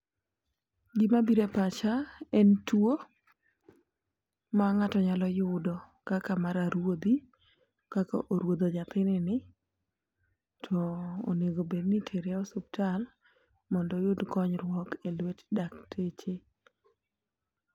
Gima bire pacha en tuo ma ng'ato nyalo yudo kaka mar aruodhi kaka oruodho nyathi ni ni .To oengo bed ni itere osiptal mondo oyud konyruok e lwet dakteche.